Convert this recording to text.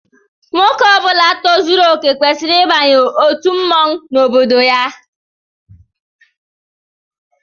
Nwoke Ọbula tozuru okè kwesịrị ịbanye otu mmọnwụ n'obodo ya